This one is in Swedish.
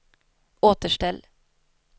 återställ